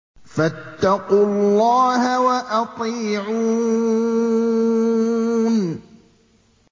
فَاتَّقُوا اللَّهَ وَأَطِيعُونِ